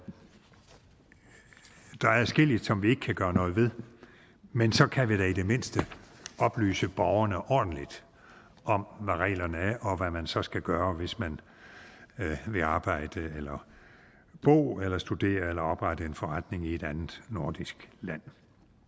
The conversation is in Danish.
adskilligt som vi ikke kan gøre noget ved men så kan vi da i det mindste oplyse borgerne ordentligt om hvad reglerne er og hvad man så skal gøre hvis man vil arbejde eller bo eller studere eller oprette en forretning i et andet nordisk land